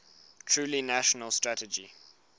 truly national strategy